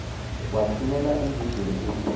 wathumela embizweni ukuba